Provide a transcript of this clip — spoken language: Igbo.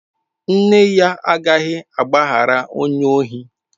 Nne ya agaghị agbaghara onye ohi.